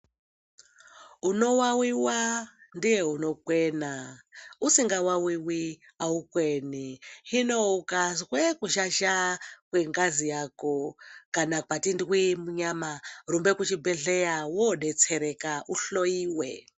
Unowawiwa ndiye unokwena, usingawawiwi haukweni. Hino ukazwe kuzhazha kwengazi yako kana patindwii munyama, rumba kuchibhedhlera woodetsereka, uhloyiwe.